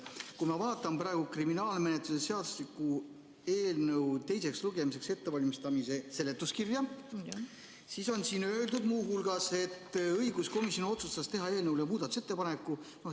Kui ma vaatan praegu kriminaalmenetluse seadustiku eelnõu teiseks lugemiseks ettevalmistamise seletuskirja, siis on siin öeldud muu hulgas, et õiguskomisjon otsustas teha eelnõu kohta muudatusettepaneku.